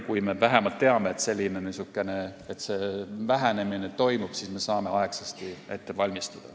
Kui me vähemalt teame, et niisugune vähenemine toimub, siis me saame aegsasti ennast ette valmistada.